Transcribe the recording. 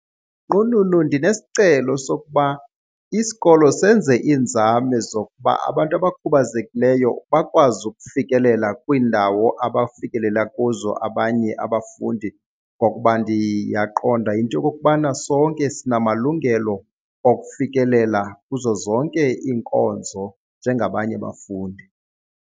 Nqununu, ndinesicelo sokuba isikolo senze iinzame zokuba abantu abakhubazekileyo bakwazi ukufikelela kwiindawo abafikelela kuzo abanye abafundi ngokuba ndiyaqonda into yokokubana sonke sinamalungelo okufikelela kuzo zonke iinkonzo njengabanye abafundi.